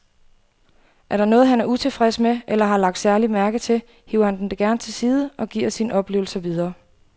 Er der noget, han er utilfreds med eller har lagt særlig mærke til, hiver han dem gerne til side og giver sine oplevelser videre.